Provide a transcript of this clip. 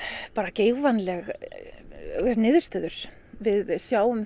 geigvænlegar niðurstöður við sjáum